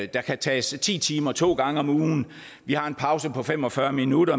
der kan tages ti timer to gange om ugen vi har en pause på fem og fyrre minutter